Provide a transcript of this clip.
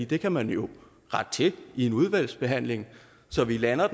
det kan man jo rette til i en udvalgsbehandling så vi lander